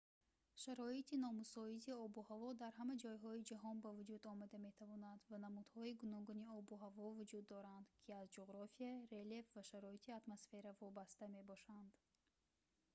шароити номусоиди обу ҳаво дар ҳама ҷойҳои ҷаҳон ба вуҷуд омада метавонад ва намудҳои гуногуни обу ҳаво вуҷуд доранд ки аз ҷуғрофия релеф ва шароити атмосфера вобаста мебошанд